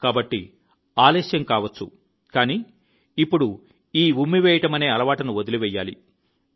కాబట్టి ఆలస్యం కావచ్చు కానీ ఇప్పుడు ఈ ఉమ్మివేయడమనే అలవాటును వదిలివేయాలి